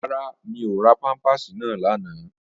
Rárá, mi ò ra pámpàsì náà lánàá